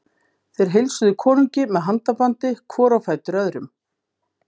Þeir heilsuðu konungi með handabandi hvor á fætur öðrum.